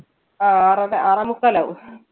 അഹ് ആറര ആറേമുക്കാലാകും.